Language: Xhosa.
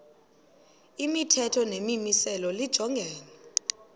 imithetho nemimiselo lijongene